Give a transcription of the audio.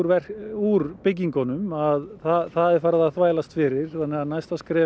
úr byggingunum að það er farið að þvælast fyrir þannig að næsta skref